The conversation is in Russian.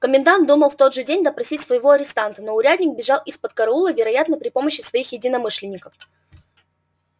комендант думал в тот же день допросить своего арестанта но урядник бежал из-под караула вероятно при помощи своих единомышленников